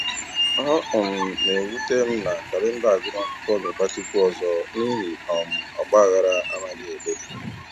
Ọ um na-ewute m na kalenda agụmakwụkwọ ga-agbatịkwu ọzọ n'ihi um ọgbaghara anaghị e dozi.